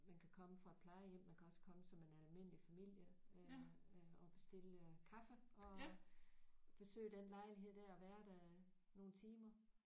Man kan komme fra et plejehjem man kan også komme som en almindelig familie øh øh og bestille kaffe og besøge den lejlighed der og være der nogle timer